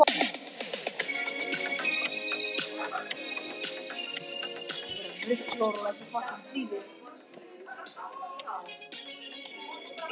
Er lífið virðist mér orðið um megn.